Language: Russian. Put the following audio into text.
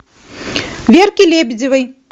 верки лебедевой